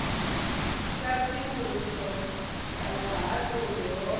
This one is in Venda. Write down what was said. sa khwiniso ya vhuhaṱuli ho